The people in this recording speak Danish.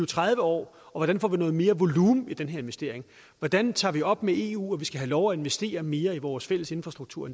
tredive år og hvordan får vi noget mere volumen i den investering hvordan tager vi det op med eu at vi skal have lov at investere mere i vores fælles infrastruktur